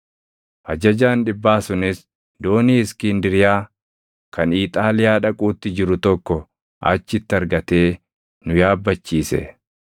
Ajajaan dhibbaa sunis doonii Iskindiriyaa kan Iixaaliyaa dhaquutti jiru tokko achitti argatee nu yaabbachiise.